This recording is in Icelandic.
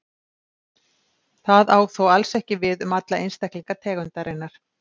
Það á þó alls ekki við um alla einstaklinga tegundarinnar.